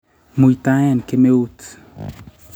muitaen kemeut